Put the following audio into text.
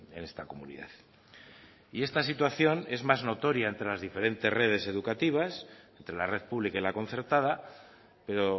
en esta comunidad y esta situación es más notoria entre las diferentes redes educativas entre la red pública y la concertada pero